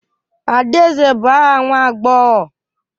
Adaeze bụ aha nwa agbọghọ.